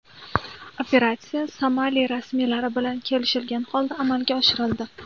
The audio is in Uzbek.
Operatsiya Somali rasmiylari bilan kelishgan holda amalga oshirildi.